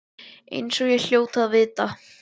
Eins og ég hljóti að vita.